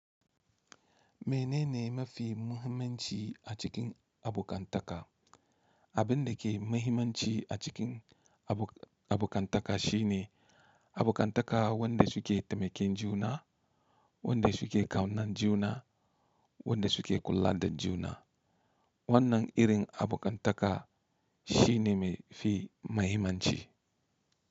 Menene mafi muhimmanci a cikin abokantaka? Abin da ke muhimmanci a cikin abokantaka shine abokantaka wadda suke taimakin juna, wadda suke kaunar juna, wadda suke kula da juna. Wannan irin abokantaka shine mafi muhimmanci.